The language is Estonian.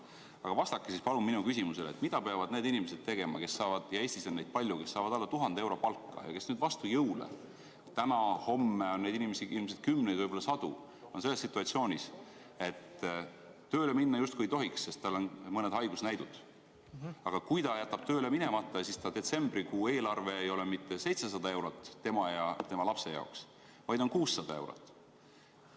Aga vastake siis palun mu küsimusele, et mida peavad tegema need inimesed, ja Eestis on neid palju, kes saavad alla 1000 euro palka ja kes nüüd vastu jõule – täna-homme on neid inimesi ilmselt kümneid, võib-olla sadu – on selles situatsioonis, et tööle minna justkui ei tohiks, sest tal on mõned haigusnähud, aga kui ta jätab tööle minemata, siis ta detsembrikuu eelarve tema ja ta lapse jaoks ei ole mitte 700 eurot, vaid on 600 eurot.